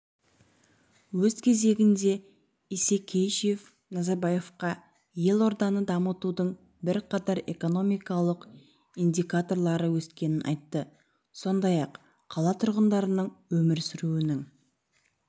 өз кезегінде исекешев назарбаевқа елорданы дамытудың бірқатар экономикалық индикаторлары өскенін айтты сондай-ақ қала тұрғындарының өмір сүруінің